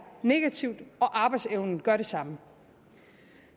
negativt og arbejdsevnen gør det samme